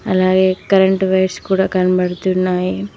అలాగే current wires కూడా కనబడుతున్నాయి.